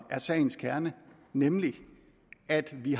er sagens kerne nemlig at vi